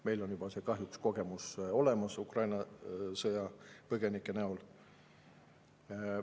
Meil on kahjuks juba kogemus olemas Ukraina sõjapõgenike näol.